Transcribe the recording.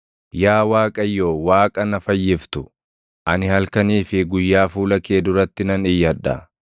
Yaa Waaqayyo, Waaqa na fayyiftu, ani halkanii fi guyyaa fuula kee duratti nan iyyadha.